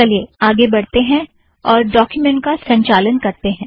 चलिए आगे बढ़ते हैं और डॉक्यूमेंट का संचालन करतें हैं